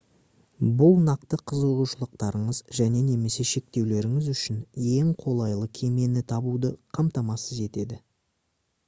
бұл нақты қызығушылықтарыңыз және/немесе шектеулеріңіз үшін ең қолайлы кемені табуды қамтамасыз етеді